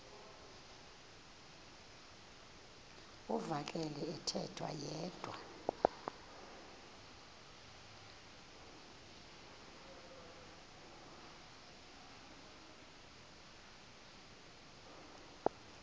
uvakele ethetha yedwa